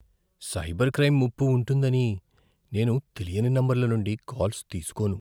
Cyber crime ముప్పు ఉంటుందని నేను తెలియని నంబర్ల నుండి కాల్స్ తీసుకోను.